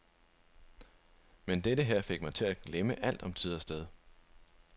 Men dette her fik mig til at glemme alt om tid og sted.